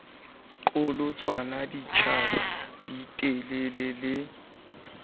qholotsanwa ditjhaba di telela le